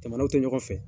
Jamanaw tɛ ɲɔgɔn fɛ